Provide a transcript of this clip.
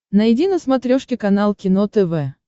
найди на смотрешке канал кино тв